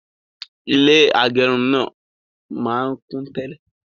Ilé agẹrun náà máa n kún tẹ́lẹ̀